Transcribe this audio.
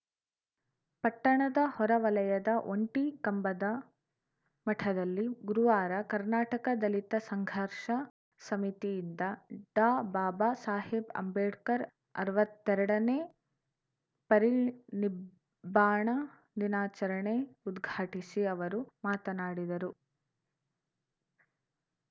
ಪಟ್ಟಣದ ಹೊರವಲಯದ ಒಂಟಿ ಕಂಬದ ಮಠದಲ್ಲಿ ಗುರುವಾರ ಕರ್ನಾಟಕ ದಲಿತ ಸಂಘರ್ಷ ಸಮಿತಿಯಿಂದ ಡಾಬಾಬಾ ಸಾಹೇಬ್‌ ಅಂಬೇಡ್ಕರ್‌ ಅರ್ವತ್ತೆರಡನೇ ಪರಿನಿಬ್ಬಾಣ ದಿನಾಚರಣೆ ಉದ್ಘಾಟಿಸಿ ಅವರು ಮಾತನಾಡಿದರು